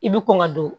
I bi kɔn ka don